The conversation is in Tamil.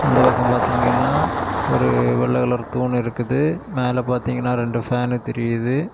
அந்தப் பக்கம் பாத்தீங்கன்னா ஒரு வெள்ள கலர் தூண் இருக்குது மேல பாத்தீங்கன்னா ரெண்டு ஃபேன் தெரியுது.